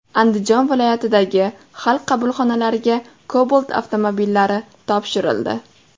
Andijon viloyatidagi Xalq qabulxonalariga Cobalt avtomobillari topshirildi .